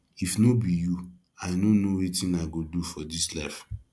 if no be you i no know wetin i go do for dis life